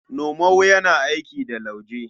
Nomau yana aiki da lauje.